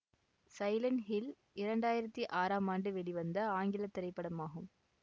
silent hill இரண்டு ஆயிரத்தி ஆறாம் ஆண்டு வெளிவந்த ஆங்கில திரைப்படமாகும்